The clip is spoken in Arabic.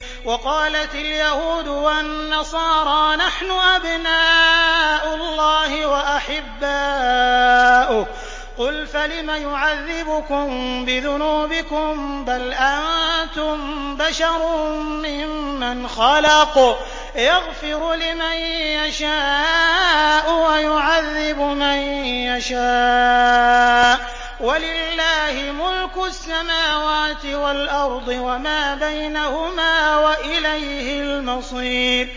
وَقَالَتِ الْيَهُودُ وَالنَّصَارَىٰ نَحْنُ أَبْنَاءُ اللَّهِ وَأَحِبَّاؤُهُ ۚ قُلْ فَلِمَ يُعَذِّبُكُم بِذُنُوبِكُم ۖ بَلْ أَنتُم بَشَرٌ مِّمَّنْ خَلَقَ ۚ يَغْفِرُ لِمَن يَشَاءُ وَيُعَذِّبُ مَن يَشَاءُ ۚ وَلِلَّهِ مُلْكُ السَّمَاوَاتِ وَالْأَرْضِ وَمَا بَيْنَهُمَا ۖ وَإِلَيْهِ الْمَصِيرُ